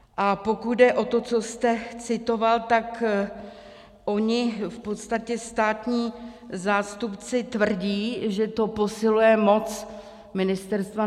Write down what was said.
A pokud jde o to, co jste citoval, tak oni v podstatě státní zástupci tvrdí, že to posiluje moc ministerstva.